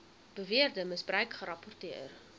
beweerde misbruik gerapporteer